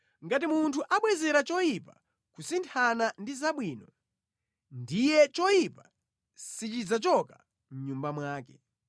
Ngati munthu abwezera choyipa kusinthana ndi zabwino, ndiye choyipa sichidzachoka mʼnyumba mwake.